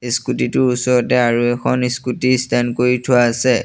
Scooty টোৰ ওচৰতে আৰু এখন স্কুটি ষ্টেন কৰি থোৱা আছে।